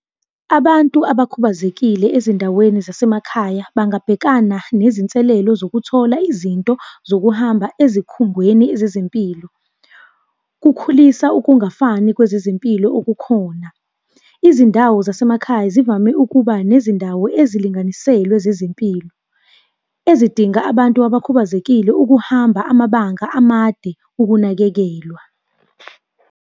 Abantu abakhubazekile ezindaweni zasemakhaya bangabhekana nezinselelo zokuthola izinto zokuhamba ezikhungweni zezempilo. Kukhulisa ukungafani kwezezempilo okukhona. Izindawo zasemakhaya zivame ukuba nezindawo ezilinganiselwe zezempilo, ezidinga abantu abakhubazekile ukuhamba, amabanga amade, ukunakekelwa.